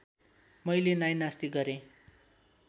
मैले नाइनास्ती गरेँ